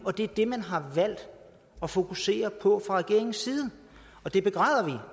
det er det man har valgt at fokusere på fra regeringens side og det begræder